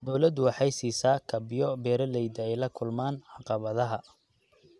Dawladdu waxay siisaa kabyo beeralayda ay la kulmaan caqabadaha.